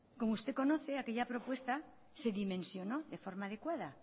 como usted conoce aquella propuesta se dimensionó de forma adecuada